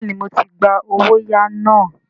Bẹ́ẹ̀ni, mo ti gba “ owóyàá ” náà.